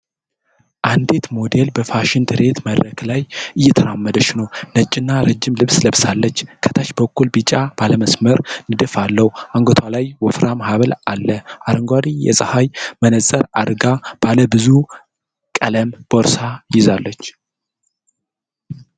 አንዲት ሞዴል በፋሽን ትርኢት መድረክ ላይ እየተራመደች ነው። ነጭና ረዥም ልብስ ለብሳለች፣ ከታች በኩል ቢጫ ባለመስመር ንድፍ አለው። አንገቷ ላይ ወፍራም ሐብል አለ። አረንጓዴ የፀሐይ መነጽር አድርጋ ባለ ብዙ ቀለም ቦርሳ ይዛለች።